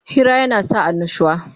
Hira yana sa annushuwa